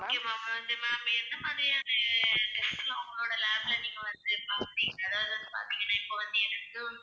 okay ma'am வந்து ma'am எந்த மாதிரியான test எல்லாம் உங்களோட lab ல நீங்க வந்து பார்ப்பீங்க அதாவது வந்து பார்த்தீங்கன்னா இப்ப வந்து எதுக்கு